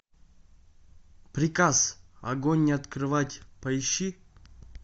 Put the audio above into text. приказ огонь не открывать поищи